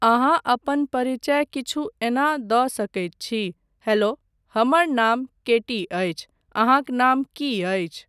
अहाँ अपन परिचय किछु एना दऽ सकैत छी, 'हैलो, हमर नाम केटी अछि, अहाँक नाम की अछि?